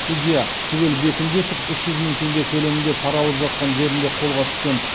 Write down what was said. судья түгел бекімбетов үш жүз мың теңге көлемінде пара алып жатқан жерінде қолға түскен